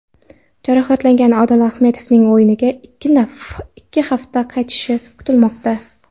Jarohatlangan Odil Ahmedovning o‘yinga ikki haftada qaytishi kutilmoqda.